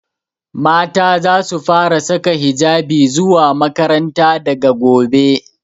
Mata zasu fara saka hijabi zuwa makaranta daga gobe.